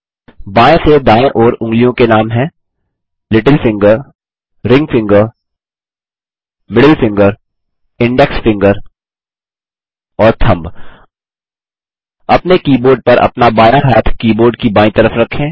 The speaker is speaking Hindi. बाएँ से दायें ओर उँगलियों के नाम हैं little finger ring finger middle finger index finger और थंब अपने कीबोर्ड पर अपना बायाँ हाथ कीबोर्ड की बायीं तरफ रखें